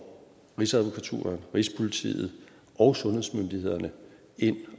rigsadvokaten rigspolitiet og sundhedsmyndighederne ind